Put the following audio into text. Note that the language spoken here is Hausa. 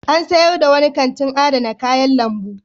An sayar da wani kantin adana kayan lambu.